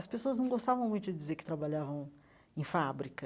As pessoas não gostavam muito de dizer que trabalhavam em fábrica.